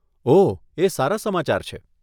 ઓહ, એ સારા સમાચાર છે.